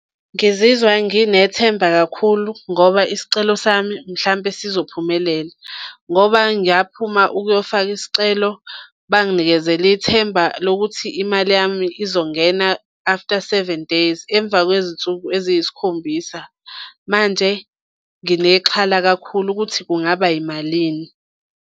Ngizizwa nginethemba kakhulu ngoba isicelo sami mhlampe sizophumelela ngoba ngiyaphuma ukuyofaka isicelo, banginikezela ithemba lokuthi imali yami izongena after seven days, emva kwezinsuku eziyisikhombisa. Manje nginexhala kakhulu ukuthi kungaba yimalini.